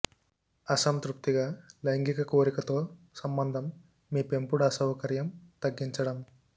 అసంతృప్తిగా లైంగిక కోరిక తో సంబంధం మీ పెంపుడు అసౌకర్యం తగ్గించడం